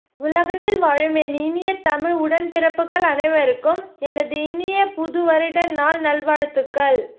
உலகத்தில் வாழும் என் இனிய த்மிழ் உடன் பிரபுக்கல் அனைவருக்கும் என்து இனிய புது வருட நால் நல் வாழ்துக்கல்